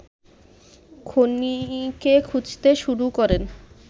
খুনিকে খুঁজতে শুরু করেন